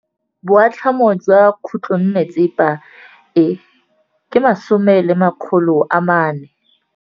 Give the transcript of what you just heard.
Boatlhamô jwa khutlonnetsepa e, ke 400.